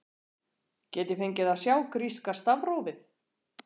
Get ég fengið að sjá gríska stafrófið?